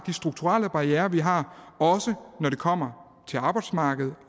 strukturelle barrierer som vi har også når det kommer til arbejdsmarkedet